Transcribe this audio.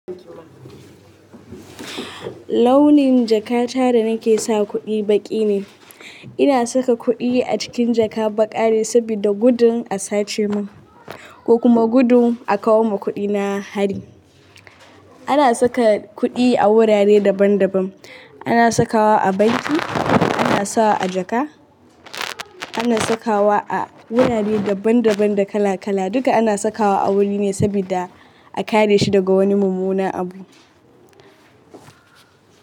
Launin jaka ta da nake sa kuɗi baƙi ne. Ina saka kuɗi a cikin jaka baƙa ne sabida gudun a sace mun ko kuma gudun a kawo ma kuɗi na hari. Ana saka kuɗi a wurare daban daban. Ana sakawa a banki, ana sawa a jaka, ana sakawa a wurare daban daban da kala kala. Duka ana sakawa a wuri ne sabida a kare shi daga wani mummuna abu.